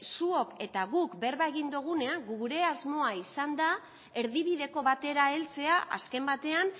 zuok eta guk berba egin dogunean gure asmoa izan da erdibideko batera heltzea azken batean